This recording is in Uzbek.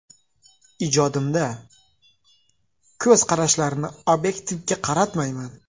Ijodimda, ko‘z qarashlarini obyektga qaratmayman.